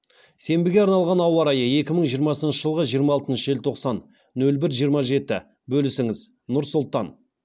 сенбіге арналған ауа райы екі мың жиырмасыншы жылғы жиырма алтыншы желтоқсан нөл бір жиырма жеті бөлісіңіз нұр сұлтан